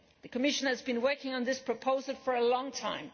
The Commission has been working on this proposal for a long time.